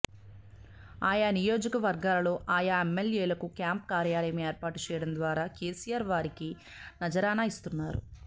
ఆయా నియోజకవర్గాలలో ఆయా ఎమ్మెల్యేలకు క్యాంప్ కార్యాలయం ఏర్పాటు చేయడం ద్వారా కేసీఆర్ వారికి నజరానా ఇస్తున్నారు